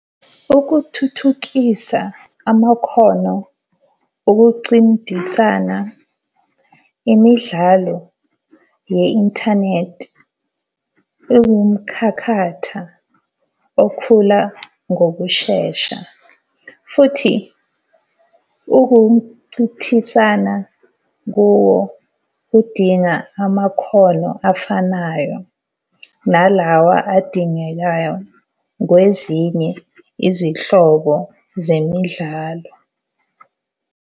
Ukuthuthukisa amakhono okucindisana imidlalo ye-inthanethi ewumkhakhatha okhula ngokushesha. Futhi ukunchithisana kuwo udinga amakhono afanayo nalawa adingekayo kwezinye izihlobo zemidlalo.